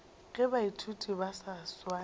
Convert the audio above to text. ge baithuti ba sa swane